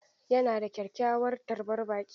Yana da kyakkyawar tarbar baƙi.